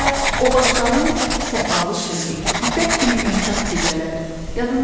Hələ o başdanın səfalı şehi, ipək kimi yumşaq gecələr yadındadırımı?